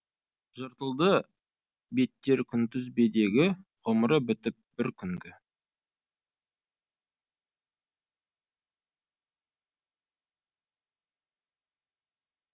жыртылды беттер күнтізбедегі ғұмыры бітіп бір күнгі